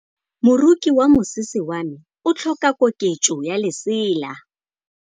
Moroki wa mosese wa me o tlhoka koketsô ya lesela.